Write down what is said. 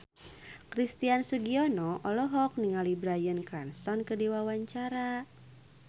Christian Sugiono olohok ningali Bryan Cranston keur diwawancara